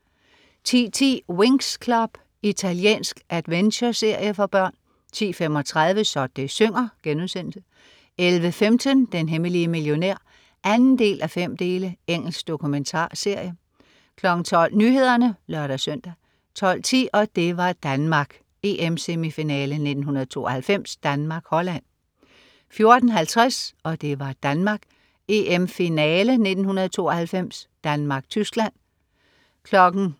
10.10 Winx Club. Italiensk adventureserie for børn 10.35 Så det synger* 11.15 Den hemmelige millionær 2:5. Engelsk dokumentarserie 12.00 Nyhederne (lør-søn) 12.10 Og det var Danmark: EM-semifinale 1992. Danmark-Holland 14.50 Og det var Danmark: EM-finale1992. Danmark-Tyskland